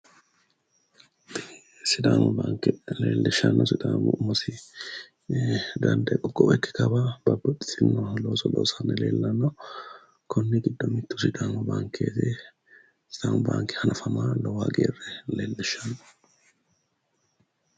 Sidaamu baanke leellishshanno sidaamu umosi dandee qoqqowo ikki kawa babbaxxitino looso loosanni leellanno, konni giddono mittu sidaamu baanke hanafamma lowo hagiirre leellishshanno.